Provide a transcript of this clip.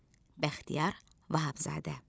Bəxtiyar Vahabzadə.